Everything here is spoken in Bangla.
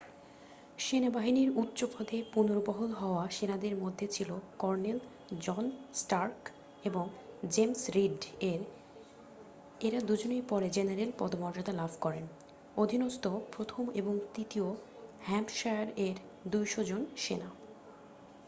সেনাবাহিনীর উচ্চপদে পুনর্বহাল হওয়া সেনাদের মধ্যে ছিল কর্নেল জন স্টার্ক এবং জেমস রীড-এর এঁরা দুজনেই পরে জেনারেল পদমর্যাদা লাভ করেন অধীনস্থ ১ম ও ৩য় নিউ হ্যাম্পশায়ার-এর ২০০ জন সেনা।